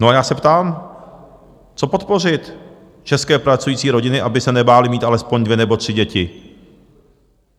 No a já se ptám: Co podpořit české pracující rodiny, aby se nebály mít alespoň dvě nebo tři děti?